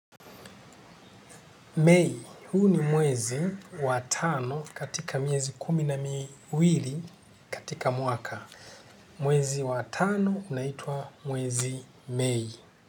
Mei, huu ni mwezi wa tano katika miezi kumi na miwili katika mwaka. Mwezi wa tano unaitwa mwezi Mei.